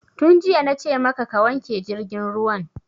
Tun jiya na ce maka ka wanke jirgin ruwan!